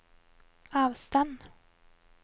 avstand